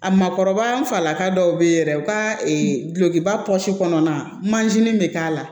A makɔrɔba falaka dɔw be ye yɛrɛ u ka dulokiba pɔsi kɔnɔna mansin bɛ k'a la